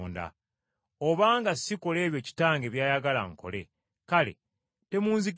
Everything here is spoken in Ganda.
Obanga sikola ebyo Kitange by’ayagala nkole, kale temunzikiriza;